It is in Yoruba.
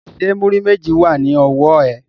Ṣé múrí méjì wà ní ọwọ́ ẹ?